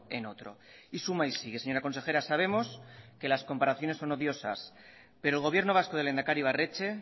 en otro y suma y sigue señora consejera sabemos que las comparaciones son odiosas pero el gobierno vasco del lehendakari ibarretxe